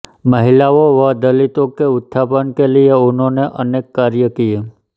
महिलाओं व दलितों के उत्थान के लिय इन्होंने अनेक कार्य किए